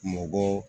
Mɔgɔ